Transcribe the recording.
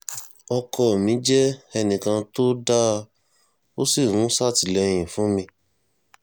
ọkọ mi jẹ́ ẹnìkan tó dáa ó sì ń ṣàtìlẹ́yìn fún mi